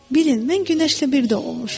Bilin, mən günəşlə bir də olmuşam.